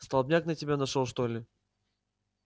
столбняк на тебя нашёл что ли